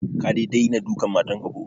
Ka dai dena dukan matan ka ko?